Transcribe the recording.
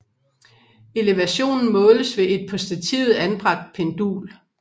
Elevationen måles ved et på stativet anbragt pendul